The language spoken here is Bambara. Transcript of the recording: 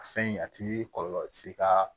A fɛn a ti kɔlɔlɔ se ka